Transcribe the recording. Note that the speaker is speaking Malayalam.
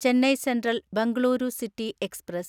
Chennai central Bengaluru city express